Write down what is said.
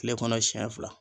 Kile kɔnɔ siɲɛ fila.